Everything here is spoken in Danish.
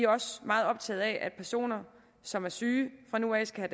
også meget optaget af at personer som er syge fra nu af skal